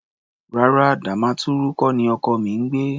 Rárá, Damaturu kọ́ ni ọkọ mi ń gbé.